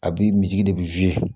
A bi misidi de bi